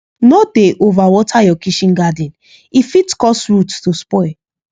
no dey over water your kitchen garden e fit cause root to spoil